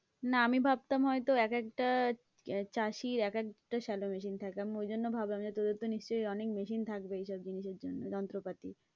না, আমি ভাবতাম হয়তো এক একটা চাষীর এক একটা শ্যালো machine থাকে, আমি ওই জন্য ভাবলাম যে তোদের তো নিশ্চয়ই অনেক machine থাকবে, ওইসব জিনিসের যন্ত্রপাতি।